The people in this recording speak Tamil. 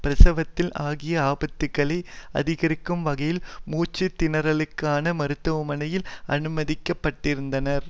பிரசவித்தல் ஆகிய ஆபத்துகளை அதிகரிக்கும் வகையில் மூச்சுத்திணறலுக்காக மருத்துவமனையில் அனுமதிக்கப்பட்டிருந்தனர்